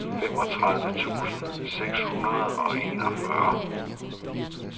femogtredive tusind seks hundrede og enogfyrre